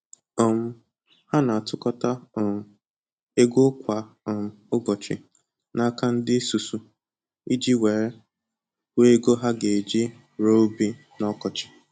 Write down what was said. um Ha na-atụkọta um ego kwa um ụbọchị n'aka ndị isusu iji were hụ ego ha ga-eji rụọ ubi n'ọkọchị